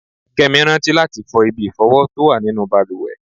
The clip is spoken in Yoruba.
Kẹ́mi rántí láti fọ ibi ìfọ̀wọ tó wà nínú bàlùwẹ̀.